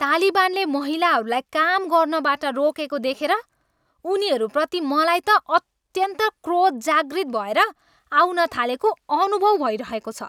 तालिबानले महिलाहरूलाई काम गर्नबाट रोकेको देखेर उनीहरूप्रति मलाई त अत्यन्त क्रोध जागृत भएर आउन थालेको अनुभव भइरहेको छ।